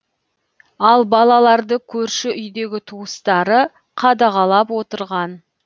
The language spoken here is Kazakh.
ал балаларды көрші үйдегі туыстары қадағалап отырған